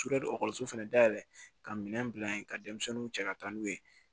Sudeli fɛnɛ dayɛlɛ ka minɛn bila yen ka denmisɛnninw cɛ ka taa n'u ye